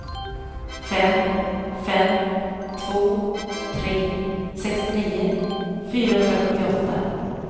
fem fem två tre sextionio fyrahundrasjuttioåtta